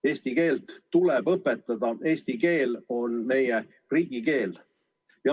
Eesti keelt tuleb õpetada, eesti keel on meie riigikeel.